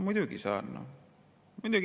"Muidugi saan.